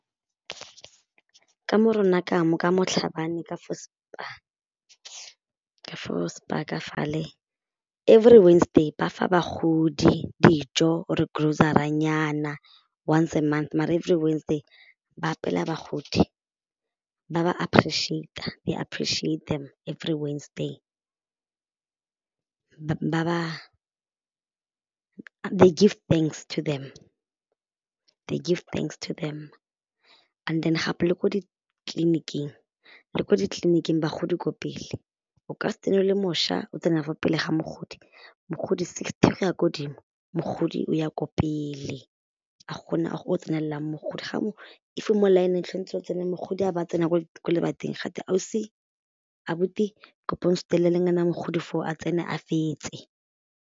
Ka mo rona ka mo ka mo Tlhabane ka fo spar ka for spar ka fale every Wednesday ba fa bagodi dijo or e grossary-a nyana once month maar every Wednesday ba apeela bagodi ba ba appreciate-a they appreciate them, every Wednesday ba ba, they give thanks to them, they give thanks to them and then gape le ko ditleliniking, le ko ditleliniking bagodi ko pele o ka se tsene o le mošwa o tsena fa pele ga mogodi, mogodi sixty go ya ko godimo mogodi o ya ko pele ga go na tsenelelang mogodi if o mo line-ng e tshwanetse o tsene mogodi a ba tsena ko ko lebating ga twe ausi, abuti kopa o nsutelele fao mogodi foo a tsene a fetse.